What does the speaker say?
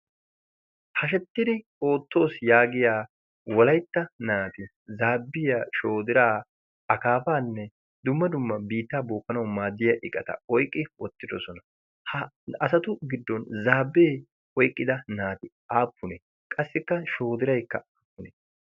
Hashettidi oottoos yaagiya walaytta naati zaabbiya shoodiraa akaafaanne dumma dumma biittaa bookkanawu maaddiya iqata oyqqi oottidosona. ha asatu giddon zaabbee oiqqida naati aappunee? qassikka shoodiraykka appunee?